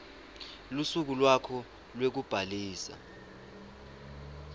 lusuku lwakho lwekubhalisa